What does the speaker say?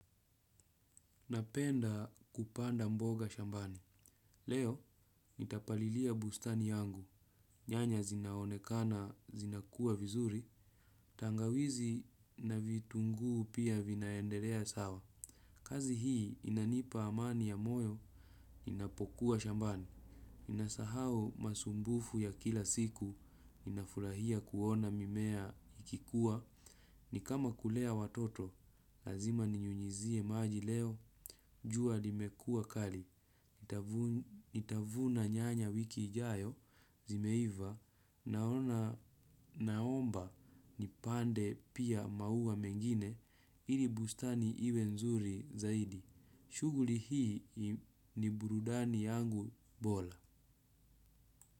Napenda kupanda mboga shambani. Leo, nitapalilia bustani yangu. Nyanya zinaonekana, zinakua vizuri. Tangawizi na vitunguu pia vinaendelea sawa. Kazi hii inanipa amani ya moyo, inapokuwa shambani. Inasahau masumbufu ya kila siku, inafurahia kuona mimea ikikua. Ni kama kulea watoto, lazima ninyunyuzie maji leo, jua limekuwa kali. Nitavuna nyanya wiki ijao zimeiva naona naomba nipande pia maua mengine ili bustani iwe nzuri zaidi. Shughuli hii ni burudani yangu bora.